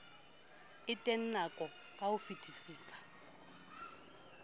e ntenang ka ho fetisisa